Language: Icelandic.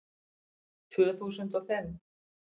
Tvö þúsund og fimm